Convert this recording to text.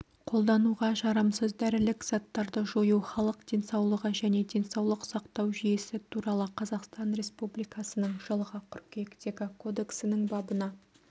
қолдануға жарамсыз дәрілік заттарды жою халық денсаулығы және денсаулық сақтау жүйесі туралы қазақстан республикасының жылғы қыркүйектегі кодексінің бабына